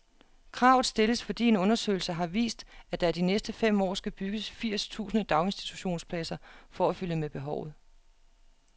Kravet stilles, fordi en undersøgelse har vist, at der de næste fem år skal bygges firs tusind daginstitutionspladser for at følge med behovet.